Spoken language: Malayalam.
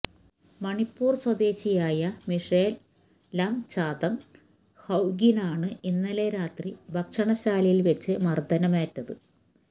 മണിപ്പൂര് സ്വദേശിയായ മിഷേല് ലംചാത്ങ് ഹൌകിനാണ് ഇന്നലെ രാത്രി ഭക്ഷണശാലയില് വെച്ച് മര്ദ്ദനമേറ്റത്